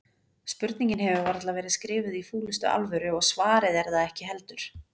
Spurningin hefur varla verið skrifuð í fúlustu alvöru og svarið er það ekki heldur.